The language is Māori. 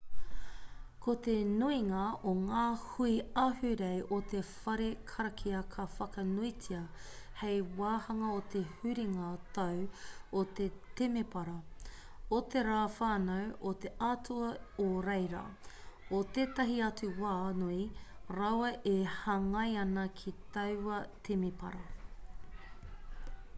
ko te nuinga o ngā hui ahurei o te whare karakia ka whakanuitia hei wāhanga o te huringa tau o te temepara o te rā whānau o te atua o reira o tētahi atu wā nui rawa e hāngai ana ki taua temepara